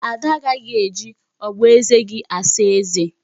Ada agaghị eji ogboeze gị asa eze